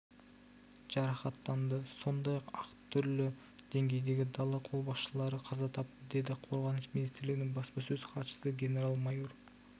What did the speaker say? жарақаттанды сондай-ақ әр түрлі деңгейдегі дала қолбасшылары қаза тапты деді қорғаныс министрлігінің баспасөз хатшысы генерал-майор